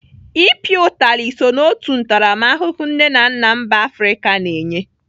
I pịa utali so n'otu ntaramahụhụ nne na nna mba Afrịka na-enye.